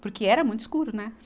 Porque era muito escuro, né?